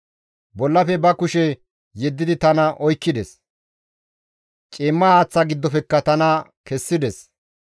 «Bollafe ba kushe yeddidi tana oykkides; ciimma haaththata giddofekka tana kessides.